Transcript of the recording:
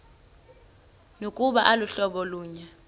nokuba aluhlobo lunye